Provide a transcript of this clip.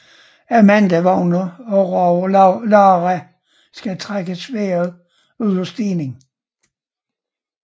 Amanda vågner og råber Lara skal trække sværdet ud af stenen